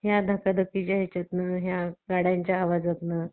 अधिकतर intel आणि AMD comany च्या processor चा वापर केला जातो. AMD म्हणजे advance micro device